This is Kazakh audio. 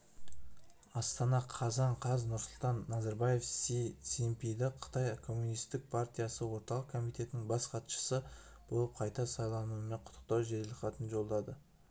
астана қазан қаз нұрсұлтан назарбаев си цзиньпинді қытай коммунистік партиясы орталық комитетінің бас хатшысы болып қайта сайлануымен құттықтау жеделхатын жолдады